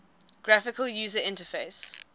graphical user interface